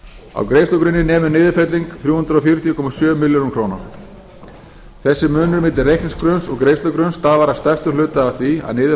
á greiðslugrunni nemur niðurfelling þrjú hundruð fjörutíu komma sjö milljónir króna þessi munur milli reikningsgrunns og greiðslugrunns stafar að stærstum hluta af því að niður